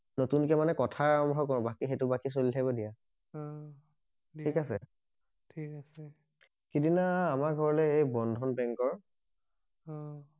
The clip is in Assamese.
নতুনকে মানে কথা আৰাম্ভ কৰো বাকি বাকি সেইটো চলি থাকিব দিয়া অ ঠিক আছে ঠিক আছে সিদিনা আমাৰ ঘৰলে বন্ধন বেংকৰ অ